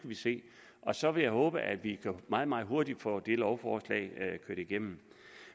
vi se så vil jeg håbe at vi meget meget hurtigt kan få det lovforslag kørt igennem